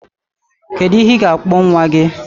Kedu ihe ị ga-akpọ nwa gị?